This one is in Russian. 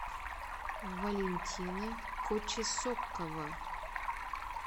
валентина кочесокова